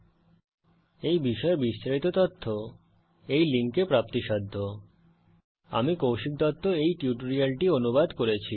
এই বিষয়ে বিস্তারিত তথ্য এই লিঙ্কে প্রাপ্তিসাধ্য spoken hyphen tutorial dot org slash NMEICT hyphen intro আমি কৌশিক দত্ত এই টিউটোরিয়ালটি অনুবাদ করেছি